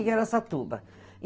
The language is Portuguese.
Em Araçatuba.